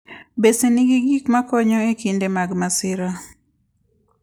Bese nigi gik makonyo e kinde mag masira.